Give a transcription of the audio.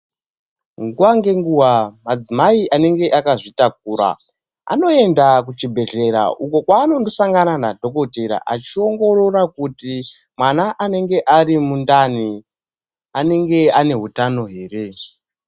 Nguwa ngenguwa madzimai anenge akazvitakura anoenda kuchibhedhlera uko kwaanondosangana nadhokotera achiongorora kuti mwana anenge arimundani, anenge ane hutano here.